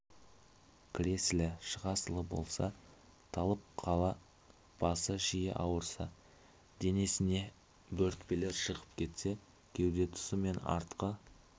кіресілі-шығасылы болса талып қалса басы жиі ауырса денесіне бөрітпелер шығып кетсе кеуде тұсы мен артқы